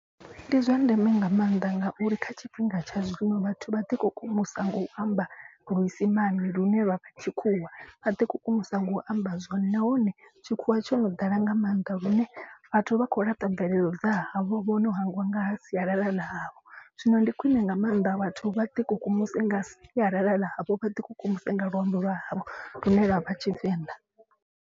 Ndi zwa ndeme nga maanḓa ngauri kha tshifhinga tsha zwino vhathu vha ḓi kukumusa nga u amba luisimane lune lwa vha tshikhuwa. Vha ḓi kukumusa nga u amba zwone nahone tshikhuwa tsho no ḓala nga maanḓa lune vhathu vha khou laṱa mvelelo dza havho. Vho no hangwa nga ha sialala ḽa havho zwino ndi khwine nga maanḓa vhathu vha ḓi kukumuse nga sialala ḽa havho vha ḓi kukumusa nga luambo lwa havho lune lwavha tshivenḓa.